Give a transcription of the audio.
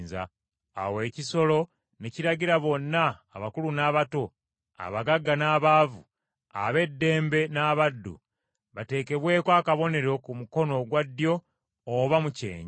Awo ekisolo ne kiragira bonna, abakulu n’abato, abagagga n’abaavu, ab’eddembe n’abaddu, bateekebweko akabonero ku mukono ogwa ddyo oba mu kyenyi,